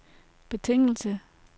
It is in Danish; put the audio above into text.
betingelse